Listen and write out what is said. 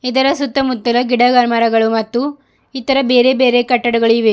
ಇದರ ಸುತ್ತಮುತ್ತಲ ಗಿಡ ಮರಗಳು ಮತ್ತು ಇತರ ಬೇರೆ ಬೇರೆ ಕಟ್ಟಡಗಳು ಇವೆ.